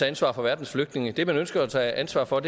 ansvar for verdens flygtninge det man ønsker at tage ansvar for